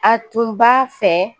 A tun b'a fɛ